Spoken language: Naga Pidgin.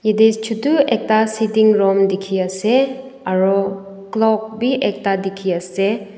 edey chotu ekta setting room dekhi ase aru clock b ekta dekhi ase.